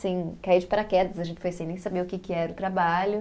Assim, caí de paraquedas, a gente foi sem nem saber o que era o trabalho.